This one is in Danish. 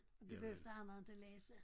Og det behøvede han inte læse